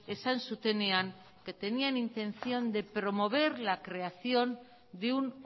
esan zutenean que tenían intención de promover la creación de un